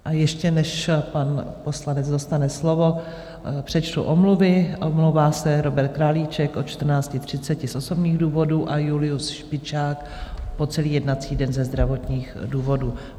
A ještě než pan poslanec dostane slovo, přečtu omluvy: omlouvá se Robert Králíček od 14.30 z osobních důvodů a Julius Špičák po celý jednací den ze zdravotních důvodů.